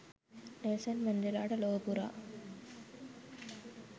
Nelson මැන්ඩෙලාට ලොව පුරා